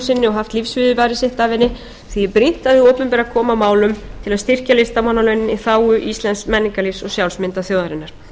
sinni og haft lífsviðurværi sitt af henni því er brýnt að hið opinbera komi að málum til að styrkja listamannalaunin í þágu íslensks menningarlífs og sjálfsmyndar þjóðarinnar